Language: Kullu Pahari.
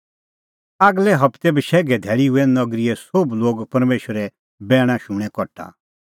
आगलै हबतै बशैघे धैल़ी हुऐ नगरीए सोभ लोग परमेशरे बैणा शूणैं कठा